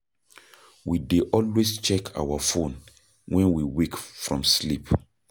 We dey always check our phone when we wake from sleep